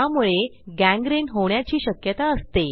त्यामुळे गँग्रीन होण्याची शक्यता असते